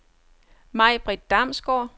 Majbrit Damsgaard